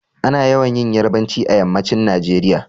Ana yawan yin yarbanci a yammacin Nageriya